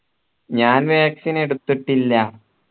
ഞാൻ vaccine എടുത്തിട്ടില്ല